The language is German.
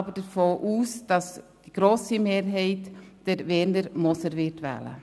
Ich gehe aber davon aus, dass die grosse Mehrheit Werner Moser wählen wird.